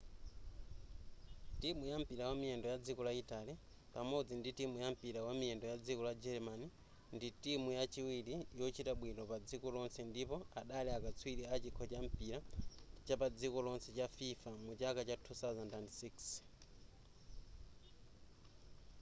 timu ya mpira wamiyendo ya dziko la italy pamodzi ndi timu ya mpira wamiyendo yadziko la german ndi timu yachiwiri yochita bwino padziko lonse ndipo adali akatswiri a chikho cha mpira chapadziko lonse cha fifa muchaka cha 2006